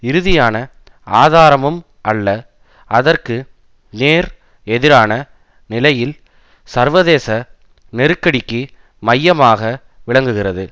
இறுதியான ஆதாரமும் அல்ல அதற்கு நேர் எதிரான நிலையில் சர்வதேச நெருக்கடிக்கு மையமாக விளங்குகிறது